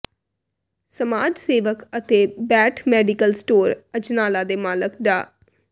ਸਮਾਜ ਸੇਵਕ ਅਤੇ ਬਾਠ ਮੈਡੀਕਲ ਸਟੋਰ ਅਜਨਾਲਾ ਦੇ ਮਾਲਕ ਡਾ